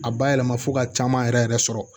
A bayɛlɛma fo ka caman yɛrɛ yɛrɛ sɔrɔ